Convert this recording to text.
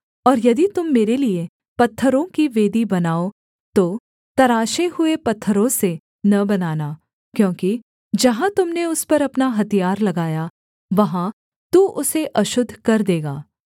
और यदि तुम मेरे लिये पत्थरों की वेदी बनाओ तो तराशे हुए पत्थरों से न बनाना क्योंकि जहाँ तुम ने उस पर अपना हथियार लगाया वहाँ तू उसे अशुद्ध कर देगा